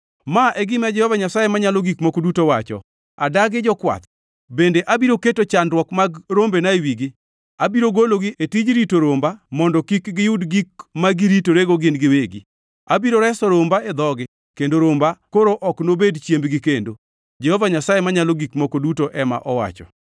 Ma e gima Jehova Nyasaye Manyalo Gik Moko Duto wacho: Adagi jokwath bende abiro keto chandruok mag rombena e wigi. Abiro gologi e tij rito romba mondo kik giyud gik ma giritorego gin giwegi. Abiro reso romba e dhogi, kendo romba koro ok nobed chiembgi kendo. Jehova Nyasaye Manyalo Gik Moko Duto ema owacho.